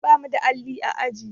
Ba mu da alli a aji.